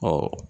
Ɔ